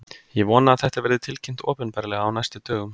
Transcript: Ég vona að þetta verði tilkynnt opinberlega á næstu dögum.